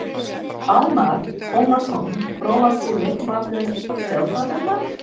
Almarr Ormarsson Grófasti leikmaður deildarinnar?